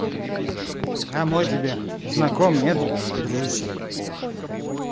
а мой тебе знаком да нет дружище